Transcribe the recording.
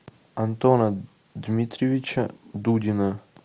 антона дмитриевича дудина